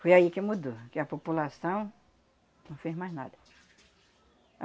Foi aí que mudou, que a população não fez mais nada.